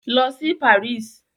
Lọ sí Paris!